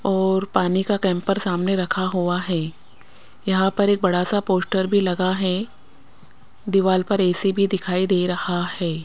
और पानी का कैंपर सामने रखा हुआ है यहां पर एक बड़ा सा पोस्टर भी लगा है दीवाल पर ए_सी भी दिखाई दे रहा है।